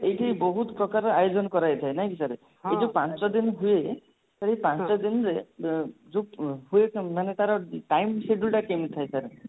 ଏଇଠି ବହୁତ ପ୍ରକାରର ଆୟୋଜନ କରାହେଇଥାଏ ନାଇଁକି sir ଏଇ ଯଉ ପାଞ୍ଚ ଦିନ ହୁଏ ସେଇ ପାଞ୍ଚଦିନରେ ଅ ଯଉ ହୁଏ କେମିତି ମାନେ ତାର time schedule ଟା କେମିତି ଥାଏ sir